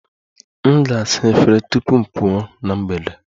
M ga-asa efere tupu m pụọ na mgbede